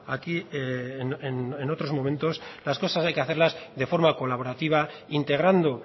aquí en otros momentos las cosas hay que hacerlas de forma colaborativa integrando